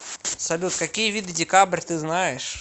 салют какие виды декабрь ты знаешь